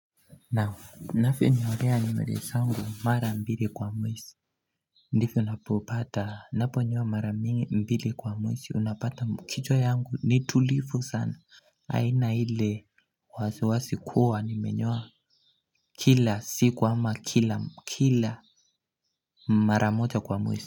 Nafi nyolea nimelea sangu mara mbili kwa mwesi Ndifyo unapopata naponyoa mara mbili kwa mwesi unapata kichwa yangu ni tulifu sana aina ile wasiwasi kuwa nimenyoa kila siku ama kila kila mara moja kwa mwesi.